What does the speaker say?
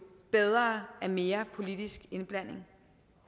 bedre af mere politisk indblanding